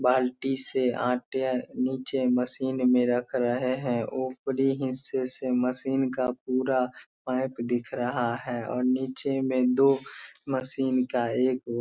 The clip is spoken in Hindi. बाल्टी से आटे नीचे मशीन में रख रहे हैं ऊपरी हिस्से से मशीन का पूरा पाइप दिख रहा है और नीचे में दो मशीन का एक --